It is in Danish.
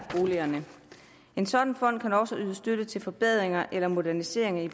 boligerne en sådan fond kan også yde støtte til forbedringer eller moderniseringer i